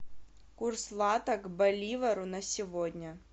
курс лата к боливару на сегодня